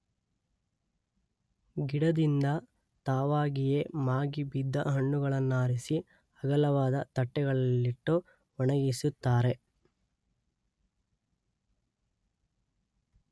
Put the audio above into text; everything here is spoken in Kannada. ಗಿಡದಿಂದ ತಾವಾಗಿಯೇ ಮಾಗಿ ಬಿದ್ದ ಹಣ್ಣುಗಳನ್ನಾರಿಸಿ ಅಗಲವಾದ ತಟ್ಟೆಗಳಲ್ಲಿಟ್ಟು ಒಣಗಿಸುತ್ತಾರೆ